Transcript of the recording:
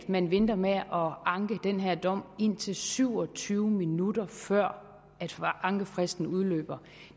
man venter med at anke den her dom indtil syv og tyve minutter før ankefristen udløber